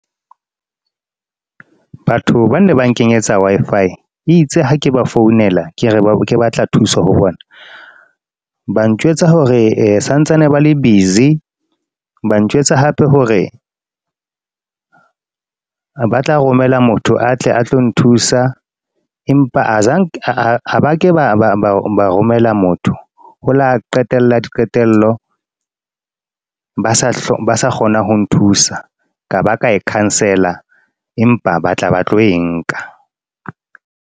Batho bane ba nkenyetsa Wi-Fi. Itse ha ke ba founela, ke re, ke batla thuso ho bona. Ba njwetsa hore santsane ba le busy. Ba njwetsa hape hore, ba tla romela motho atle a tlo nthusa. Empa ha ba ke ba romela motho. Ho la qetella diqetello. Ba sa kgona ho nthusa, ka ba ka e cancel-a. Empa ba tla ba tlo e nka.